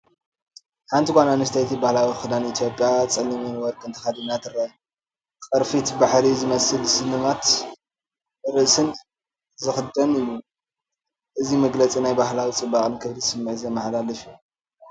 ሓንቲ ጓል ኣንስተይቲ ባህላዊ ክዳን ኢትዮጵያ ጸሊምን ወርቅን ተኸዲና ትርአ። ቅርፊት ባሕሪ ዝመስል ስልማትን ርእስን ዝኽደን እዩ። እዚ መግለጺ ናይ ባህላዊ ጽባቐን ክብርን ስምዒት ዘመሓላልፍ እዩ።